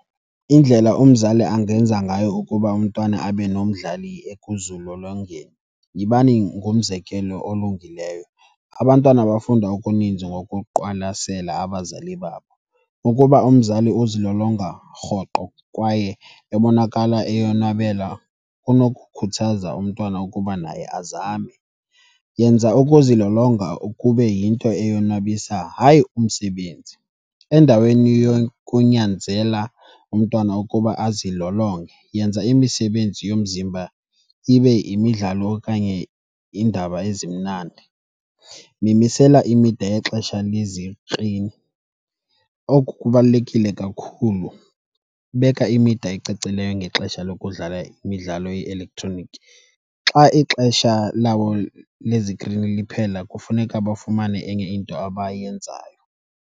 Indlela umzali angenza ngayo ukuba umntwana abe nomdlali ekuzilolongeni, yibani ngumzekelo olungileyo. Abantwana bafunda okuninzi ngokuqwalasela abazali babo. Ukuba umzali uzilolonga rhoqo kwaye ebonakala eyonwabela kunokukhuthaza umntwana ukuba naye azame. Yenza ukuzilolonga kube yinto eyonwabisa, hayi umsebenzi. Endaweni yokunyanzela umntwana ukuba azilolonge, yenza imisebenzi yomzimba ibe yimidlalo okanye iindaba ezimnandi. Nimisele imida yexesha lezikrini. Oku kubalulekile kakhulu. Beka imida ecacileyo ngexesha lokudlala imidlalo ye-elektroniki. Xa ixesha labo lezikrini liphela kufuneka bafumane enye into abayenzayo.